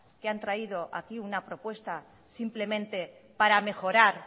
que han traído aquí una propuesta simplemente para mejorar